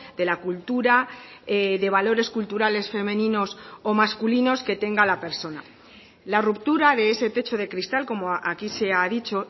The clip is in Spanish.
de la cultura de valores culturales femeninos o masculinos que tenga la persona la ruptura de ese techo de cristal como aquí se ha dicho